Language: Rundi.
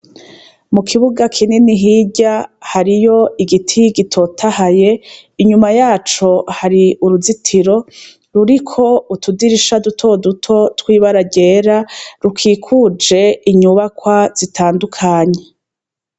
Mu kibuga kinini hirya, hariyo igiti gitotahaye, inyuma yaco hari uruzitiro, ruriko n'utudirisha dutoduto tw'ibara ryera, rukikuje inyubakwa zitandukanye.